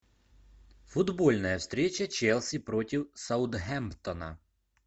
футбольная встреча челси против саутгемптона